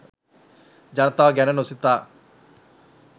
ජනතාව ගැන නොසිතා